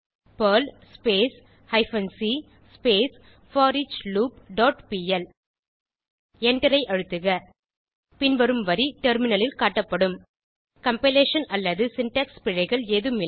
Perl hyphen c forloop dot pl எண்டரை அழுத்துக பின்வரும் வரி டெர்மினலில் காட்டப்படும் கம்பைலேஷன் அல்லது சின்டாக்ஸ் பிழைகள் ஏதும் இல்லை